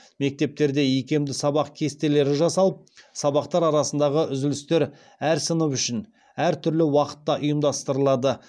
мектептерде икемді сабақ кестелері жасалып сабақтар арасындағы үзілістер әр сынып үшін әр түрлі уақытта ұйымдастырылады